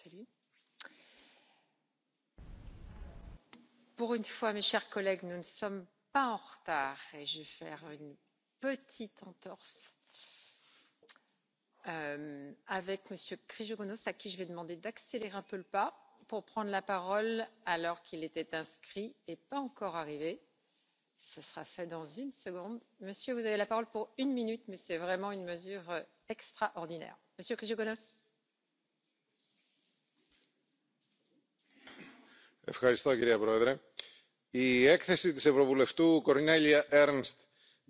Das Zweite ist meine Bitte, auch an die Kommissarin, Druck zu machen auch auf den Rat. Wir möchten gerne, dass ePrivacy verhandelt wird und nicht nur darüber geredet wird und in den Mitgliedstaaten in den Medien irgendwelches Zeug behauptet wird, das nicht der Wahrheit entspricht. Es ist ganz, ganz wichtig, dass die ePrivacy tatsächlich hier in die Verhandlungen und noch in dieser Legislatur unter Dach und Fach kommt. Alles andere finden wir wirklich schlimm. Der Rat hat sich hier wirklich nicht auf ein gutes Feld